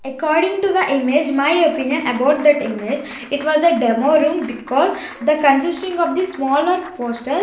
according to the image my opinion about that image it was a demo room because the consisting of the smaller poster --